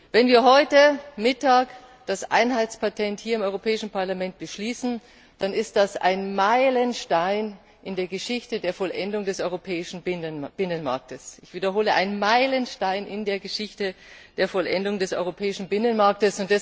Wenn wir heute Mittag hier im Europäischen Parlament das Einheitspatent beschließen, dann ist das ein Meilenstein in der Geschichte der Vollendung des europäischen Binnenmarkts ich wiederhole ein Meilenstein in der Geschichte der Vollendung des europäischen Binnenmarkts!